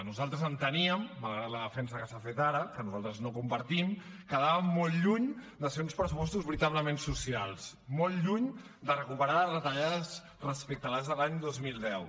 nosaltres enteníem malgrat la defensa que s’ha fet ara que nosaltres no compartim que quedaven molt lluny de ser uns pressupostos veritablement socials molt lluny de recuperar les retallades respecte als de l’any dos mil deu